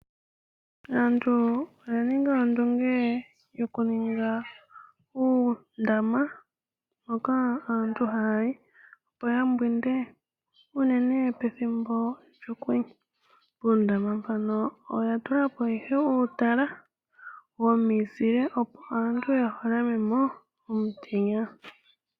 Aantu oya ninga ondunge yokuninga uundama. Hoka aantu haya yi opo yambwinde uunene pethimbo lyokwenye. Puundama mpano oya tula po uutala womizile, opo aantu ya gondje omutenya.